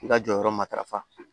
I ka jɔyɔrɔ matarafa